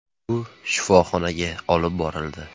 “U shifoxonaga olib borildi.